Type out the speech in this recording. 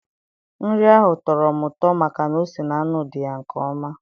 Nri ahụ tọrọ m ụtọ maka na ose na nnu dị ya nke ọma